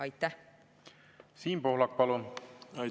Siim Pohlak, palun!